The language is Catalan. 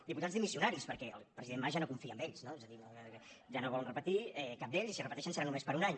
diputats dimissionaris perquè el president mas ja no confia en ells no d’ells i si repeteixen serà només per a un any